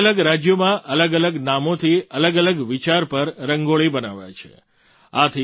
અલગઅલગ રાજ્યોમાં અલગઅલગ નામોથી અલગઅલગ વિચાર પર રંગોળી બનાવાય છે